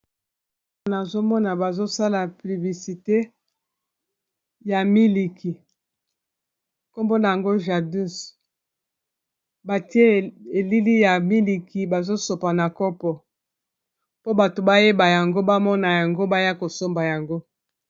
Nazo mona bazosala pliblisite ya miliki nkombo na yango jadus batie elili ya miliki bazo sopa na kopo po bato bayeba yango bamona yango baya kosomba yango.